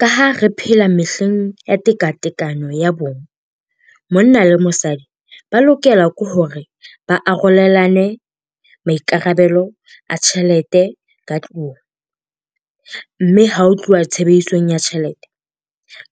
Ka ha re phela mehleng ya tekatekano ya bong, monna le mosadi ba lokela ke hore ba arolelane maikarabelo a tjhelete ka tlung. Mme ha ho tluwa tshebedisong ya tjhelete,